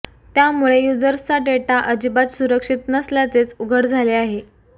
त्यामुळे युजर्सचा डेटा अजिबात सुरक्षित नसल्याचेच उघड झाले आहे